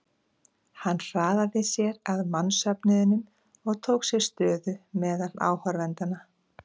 Hann hraðaði sér að mannsöfnuðinum og tók sér stöðu meðal áhorfendanna.